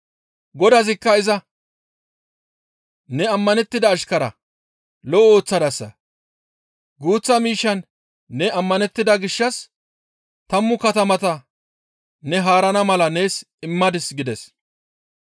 «Godazikka iza, ‹Ne ammanettida ashkara; lo7o ooththadasa. Guuththa miishshan ne ammanettida gishshas tammu katamata ne haarana mala nees immadis› gides.